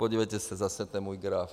Podívejte se, zase ten můj graf.